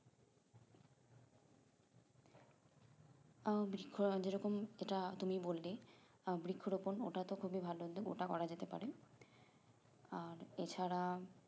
আহ বৃক্ষ যেরকম যেটা তুমি বললে আহ বৃক্ষ রোপন ওটাতো খুবই ভালো একদম ওটা করা যেতে পারে আর এছাড়া